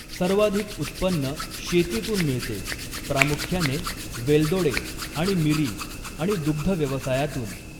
सर्वाधिक उत्पन्न शेतीतून मिळते, प्रामुख्याने वेलदोडे आणि मिरी आणि दुग्धव्यवसायातून.